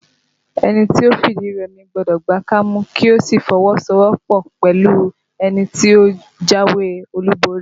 Ẹni tó fìdí rẹmi gbọ́dọ̀ gba kámú kí ó sì fi ọwọ so ọwọ́ pọ̀ pẹ̀lú ẹni tó jáwé olúborí